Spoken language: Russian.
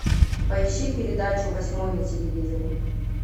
поищи передачу восьмой на телевизоре